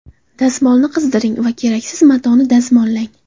Dazmolni qizdiring va keraksiz matoni dazmollang.